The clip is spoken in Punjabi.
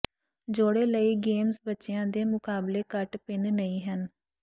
ਜੋੜੇ ਲਈ ਗੇਮਜ਼ ਬੱਚਿਆਂ ਦੇ ਮੁਕਾਬਲੇ ਘੱਟ ਭਿੰਨ ਨਹੀਂ ਹਨ